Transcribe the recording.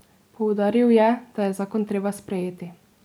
Poudaril je, da je zakon treba sprejeti.